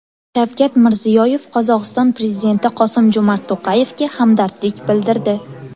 Shavkat Mirziyoyev Qozog‘iston prezidenti Qosim-Jo‘mart To‘qayevga hamdardlik bildirdi.